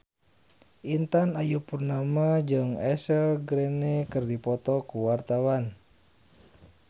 Intan Ayu Purnama jeung Ashley Greene keur dipoto ku wartawan